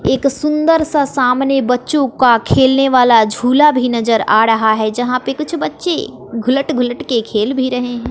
एक सुंदर सा सामने बच्चों का खेलने वाला झूला भी नजर आ ड़हा है जहां पे कुछ बच्चे घुलट घुलट के खेल भी रहे हैं।